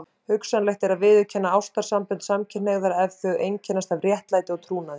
Hugsanlegt er að viðurkenna ástarsambönd samkynhneigðra ef þau einkennast af réttlæti og trúnaði.